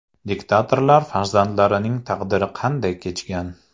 Diktatorlar farzandlarining taqdiri qanday kechgan?